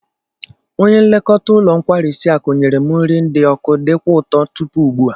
Onye nlekọta ụlọ nkwarisi akụ nyere m nri dị oku dikwa ụtọ tupu ugbua